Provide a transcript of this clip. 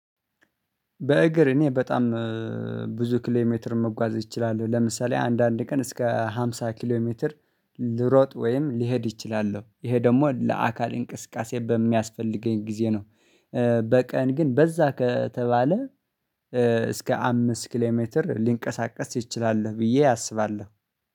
በእግር እኔ በጣም ብዙ ኪሎ ሜትር መጓዝ እችላለሁ ለምሳሌ አንዳንድ ቀን እስከ ሃምሳ ኪሎ ሜትር ልሮጥ ወይም ሊሄድ እችላል ይሄ ደግሞ ለአካል እንቅስቃሴ በሚያስፈልገኝ ጊዜ ነው። በቀን ግን በዛ ከተባለ እስከ አምስት ኪሌሜትር ልንቀሳቀስ እችላለሁ ብዬ አስባለሁ